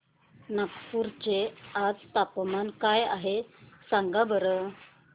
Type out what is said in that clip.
नागपूर चे आज चे तापमान काय आहे सांगा बरं